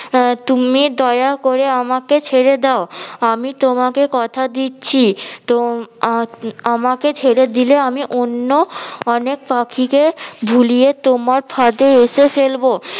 আহ তুমি দয়া করে আমাকে ছেড়ে দাও আমি তোমাকে কথা দিচ্ছি তম~ আহ আমাকে ছেড়ে দিলে আমি অন্য অনেক পাখিকে ভুলিয়ে তোমার ফাঁদে এসে ফেলবো